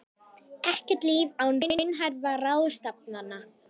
Ekkert líf án raunhæfra ráðstafana